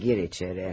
Hadi gir içəri.